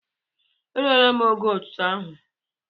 E rụ́ọ́la m ógó aha otútú áhù?